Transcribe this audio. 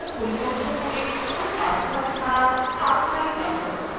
password পরিবর্তন করে কোনো পাসওয়ার্ড ছাড়া বা খালি পাসওয়ার্ড করা